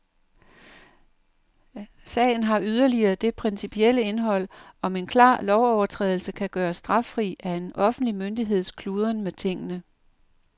Sagen har yderligere det principielle indhold, om en klar lovovertrædelse kan gøres straffri af en offentlig myndigheds kludren med tingene.